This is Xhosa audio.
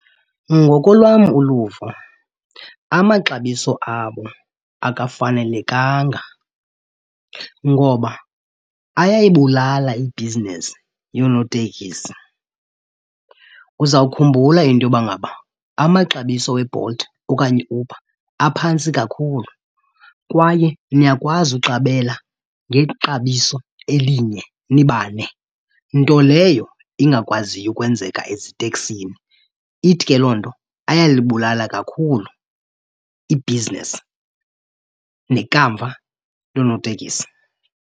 Ngokolwam uluvo amaxabiso abo akafanelekanga ngoba ayayibulala ibhizinesi yoonotekisi. Uzawukhumbula into yoba ngaba amaxabiso weBolt okanye iUber aphantsi kakhulu kwaye niyakwazi uqabela ngexabiso elinye nibane, nto leyo ingakwaziyo ukwenzeka eziteksini. Ithi ke loo nto ayalibulala kakhulu ibhizinesi nekamva loonotekisi.